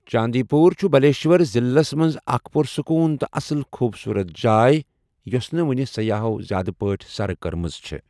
چاندی پوٗر چھِ بالیشور ضِلعس منز اكھ پُر سكوٗن تہٕ اصل خوبصورت جایہ یوسہٕ نہٕ وُنہِ سیاحو٘ زیادٕ پٲٹھۍ سرٕ كٕرمژ چھے٘۔